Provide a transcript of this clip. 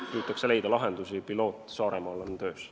Püütakse leida lahendusi ja pilootprojekt Saaremaal on juba töös.